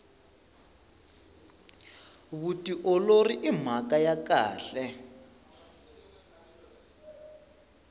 vutiolori i mhaka ya kahle